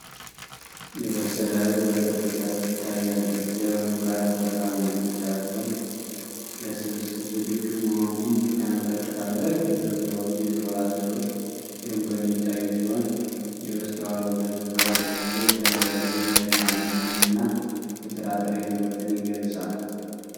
የበሰለ እህል በቅርብ ርቀት ትታያለች። የእህሉ ራስ ወርቃማ ቢጫ ሲሆን ለስብስብ ዝግጁ መሆኑን ያመለክታል። ረጅም ሹል የሆኑ የሾላ ዘሮች ደምቀው የሚታዩ ሲሆን የበስተኋላው ገጽታ ደብዝዞ ይታያል። ይህም የእርሻ ምርትንና የጥራጥሬን ውበትን ይገልጻል።